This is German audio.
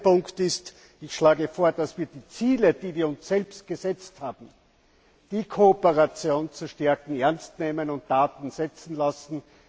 Zweitens Ich schlage vor, dass wir die Ziele, die wir uns selbst gesetzt haben die Kooperation zu stärken ernst nehmen und Taten folgen lassen.